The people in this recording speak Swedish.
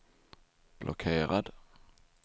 blockerad